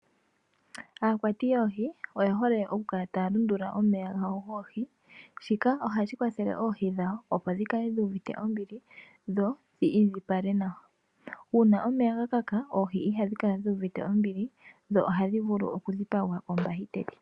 Aakwati yoohi oyehole oku kala taya lundulula omeya gawo goohi shika ohashi kwathele oohi dhawo opo dhi kale dhu uvite ombili dho dhi indjipale nawa uuna omeya ga kaka oohi ihadhi kala dhu iuvite ombili dho ohadhi vulu okudhipagwa kombakiteli.